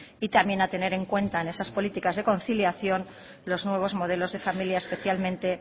y también a tener en cuenta en esas políticas de conciliación los nuevos modelos de familia especialmente